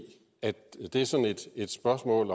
at det er sådan et spørgsmål